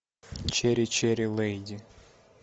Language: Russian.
чери чери леди